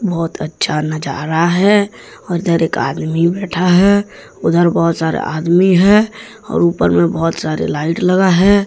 बहुत अच्छा नजारा है और उधर एक आदमी बैठा है। उधर बहुत सारे आदमी हैं और ऊपर में बहुत सारे लाइट लगा है।